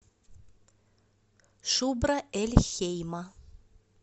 шубра эль хейма